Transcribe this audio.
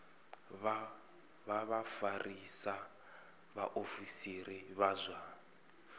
vha vhafarisa vhaofisiri vha zwa